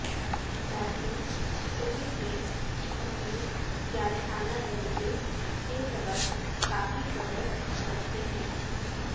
Lawson cricket میں اپنے جارحانہ رویے کے سبب کا فی شہرت رکھتے ہیں